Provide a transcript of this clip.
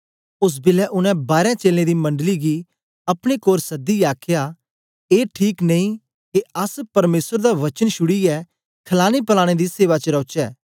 ओस बेलै उनै बारें चेलें दी मंडली गी अपने कोल सदियै आखया ए ठीक नेई के अस परमेसर दा वचन छुड़ीयै खलाने पलाने दी सेवा च रौचै